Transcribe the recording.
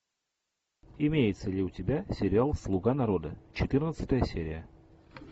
имеется ли у тебя сериал слуга народа четырнадцатая серия